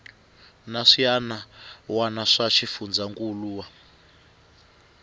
na swiana wana swa xifundzankuluwa